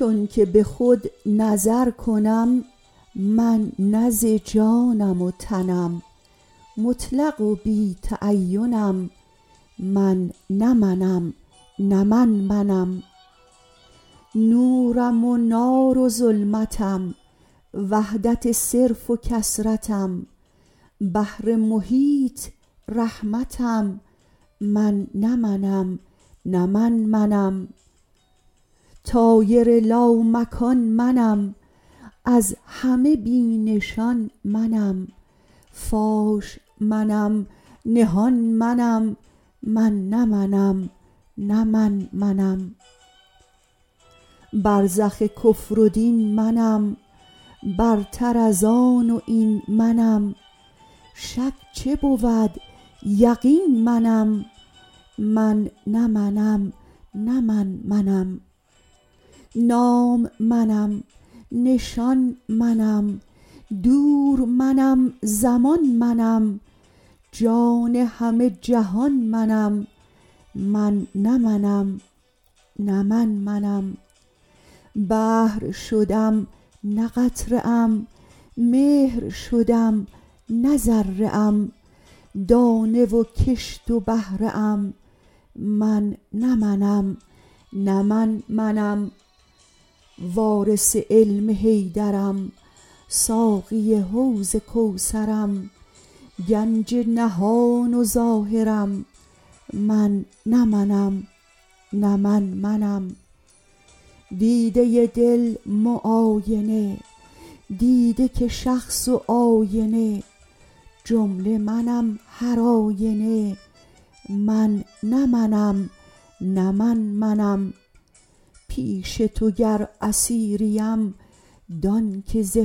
چونکه بخود نظرکنم من نه ز جانم و تنم مطلق و بی تعینم من نه منم نه من منم نورم ونار و ظلمتم وحدت صرف و کثرتم بحر محیط رحمتم من نه منم نه من منم طایر لامکان منم از همه بی نشان منم فاش منم نهان منم من نه منم نه من منم برزخ کفر و دین منم برتر ازآن واین منم شک چه بود یقین منم من نه منم نه من منم نام منم نشان منم دور منم زمان منم جان همه جهان منم من نه منم نه من منم بحر شدم نه قطره ام مهر شدم نه ذره ام دانه و کشت و بهره ام من نه منم نه من منم وارث علم حیدرم ساقی حوض کوثرم گنج نهان و ظاهرم من نه منم نه من منم دیده دل معاینه دیده که شخص و آینه جمله منم هر آینه من نه منم نه من منم پیش تو گر اسیریم دان که ز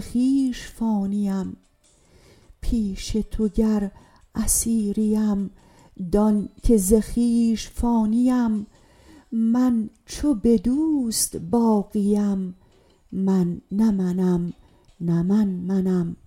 خویش فانیم من چو بدوست باقیم من نه منم نه من منم